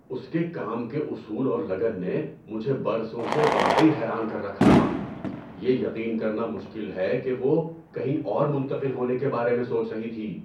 اس کے کام کے اصول اور لگن نے مجھے برسوں سے واقعی حیران کر رکھا تھا، یہ یقین کرنا مشکل ہے کہ وہ کہیں اور منتقل ہونے کے بارے میں سوچ رہی تھی۔